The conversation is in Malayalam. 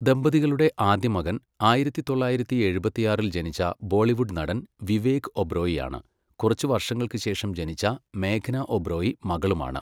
ദമ്പതികളുടെ ആദ്യ മകൻ, ആയിരത്തി തൊള്ളായിരത്തി എഴുപത്തിയാറില് ജനിച്ച ബോളിവുഡ് നടൻ വിവേക് ഒബ്റോയിയാണ്. കുറച്ച് വർഷങ്ങൾക്ക് ശേഷം ജനിച്ച മേഘ്ന ഒബ്റോയി മകളുമാണ്.